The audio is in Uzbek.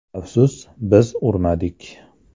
Afsus, biz urmadik.